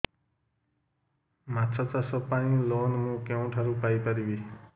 ମାଛ ଚାଷ ପାଇଁ ଲୋନ୍ ମୁଁ କେଉଁଠାରୁ ପାଇପାରିବି